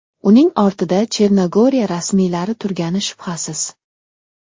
Uning ortida Chernogoriya rasmiylari turgani shubhasiz.